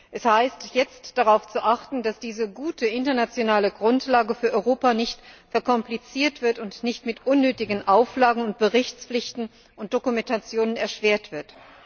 Es gilt jetzt, darauf zu achten, dass diese gute internationale Grundlage für Europa nicht verkompliziert und nicht mit unnötigen Auflagen, Berichtspflichten und Dokumentationen erschwert wird.